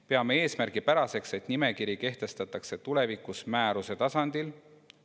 Peame eesmärgipäraseks, et nimekiri kehtestatakse tulevikus määruse tasandil.